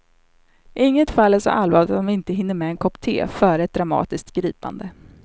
Inget fall är så allvarligt att man inte hinner med en kopp te före ett dramatiskt gripande.